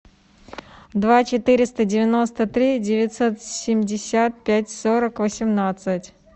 два четыреста девяносто три девятьсот семьдесят пять сорок восемнадцать